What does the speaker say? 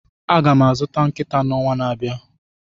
Aga m azụta nkịta n'ọnwa na-abịa.